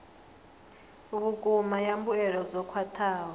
vhukuma ya mbuelo dzo khwathaho